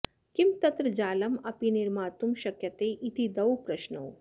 किं तत्र जालं अपि निर्मातुं शक्यते इति द्वौ प्रश्नौ